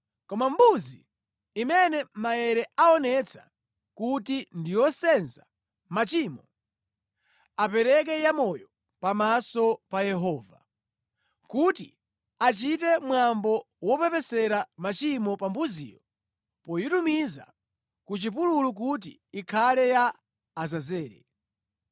Koma mbuzi imene maere aonetsa kuti ndi yosenza machimo, apereke ya moyo pamaso pa Yehova, kuti achite mwambo wopepesera machimo pa mbuziyo poyitumiza ku chipululu kuti ikhale ya Azazele.